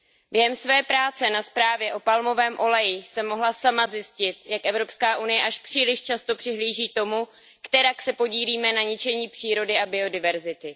Během své práce na zprávě o palmovém oleji jsem mohla sama zjistit, jak EU až příliš často přihlíží tomu, kterak se podílíme na ničení přírody a biodiverzity.